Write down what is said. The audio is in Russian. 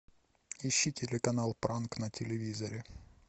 ищи телеканал пранк на телевизоре